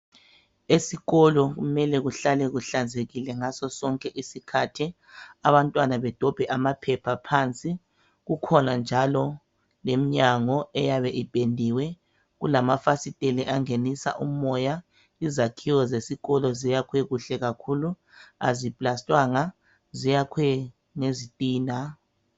Esikolo kumele kuhlale kuhlanzekile ngaso sonke isikhathi, abantwana bedobhe amaphepha phansi. Kukhona njalo lemnyango eyabe ipendiwe, kulamafasitela angenisa umoya. Izakhiwo zesikolo ziyakhwe kuhle kakhulu. Aziplastwanga, ziyakhwe ngezitina.